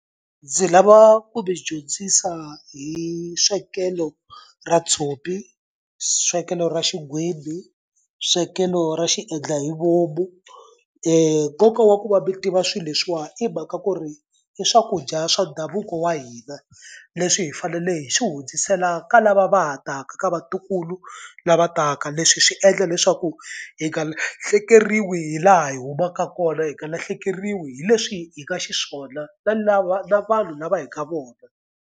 Ndzi lava ku mi dyondzisa hi swekelo ra tshopi, swekelo ra xigwimbhi, swekelo ra xiendlahivomu. nkoka wa ku va mi tiva swilo leswiwani i mhaka ku ri i swakudya swa ndhavuko wa hina leswi hi fanele hi swi hundzisela ka lava va ha taka ka vatukulu lava taka leswi swi endla leswaku hi nga lahlekeriwi hi laha hi humaka kona hi nga lahlekeriwi hi leswi hi nga xiswona na lava na vanhu lava hi ka vona.